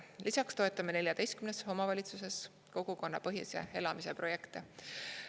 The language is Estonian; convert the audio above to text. Lisaks toetame 14 omavalitsuses kogukonnapõhise elamise projekte.